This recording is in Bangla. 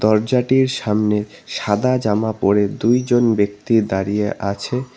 দরজাটির সামনে সাদা জামা পরে দুইজন ব্যক্তি দাঁড়িয়ে আছে।